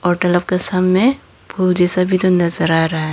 और तालाब के सामने फूल जैसा भी नजर आ रहा है।